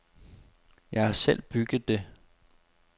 Jeg har selv bygget det.